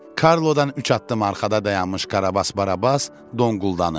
Karlodan üç addım arxada dayanmış Karabas Barabas donquldandı.